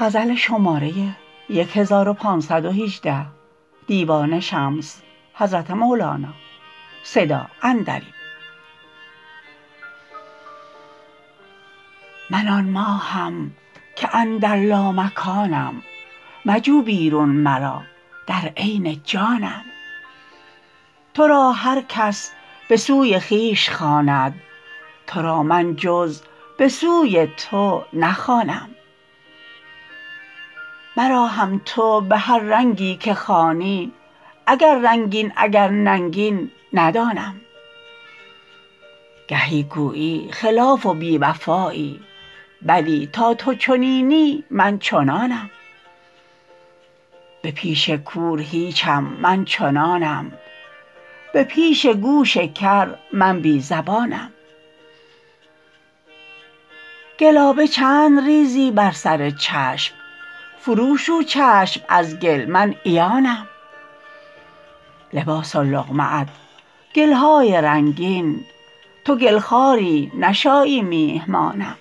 من آن ماهم که اندر لامکانم مجو بیرون مرا در عین جانم تو را هر کس به سوی خویش خواند تو را من جز به سوی تو نخوانم مرا هم تو به هر رنگی که خوانی اگر رنگین اگر ننگین ندانم گهی گویی خلاف و بی وفایی بلی تا تو چنینی من چنانم به پیش کور هیچم من چنانم به پیش گوش کر من بی زبانم گلابه چند ریزی بر سر چشم فروشو چشم از گل من عیانم لباس و لقمه ات گل های رنگین تو گل خواری نشایی میهمانم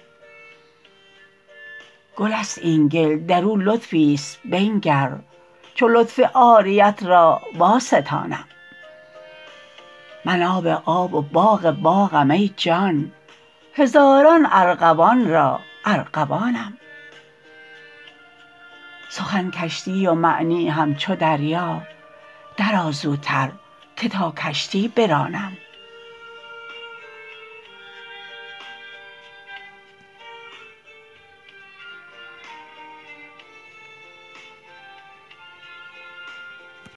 گل است این گل در او لطفی است بنگر چو لطف عاریت را واستانم من آب آب و باغ باغم ای جان هزاران ارغوان را ارغوانم سخن کشتی و معنی همچو دریا درآ زوتر که تا کشتی برانم